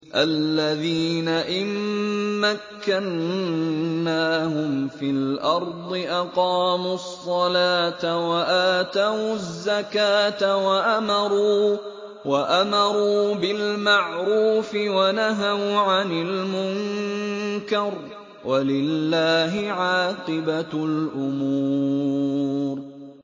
الَّذِينَ إِن مَّكَّنَّاهُمْ فِي الْأَرْضِ أَقَامُوا الصَّلَاةَ وَآتَوُا الزَّكَاةَ وَأَمَرُوا بِالْمَعْرُوفِ وَنَهَوْا عَنِ الْمُنكَرِ ۗ وَلِلَّهِ عَاقِبَةُ الْأُمُورِ